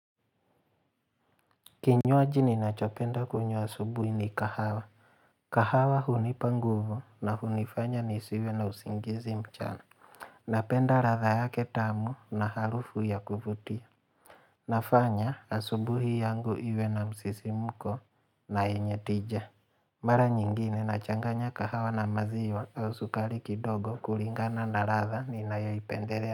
Kinywaji ninachopenda kunywa asubuhi ni kahawa kahawa hunipa nguvu na hunifanya nisiwe na usingizi mchana Napenda ladha yake tamu na harufu ya kuvutia nafanya asubuhi yangu iwe na msisimko na yenye tija Mara nyingine nachanganya kahawa na maziw au sukari kidogo kulingana na ladha ninayoipendelea.